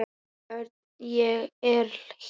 Örn, ég er hér